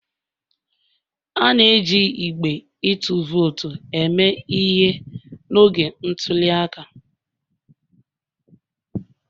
A na-eji igbe ịtụ vootu eme ihe n'oge ntuli aka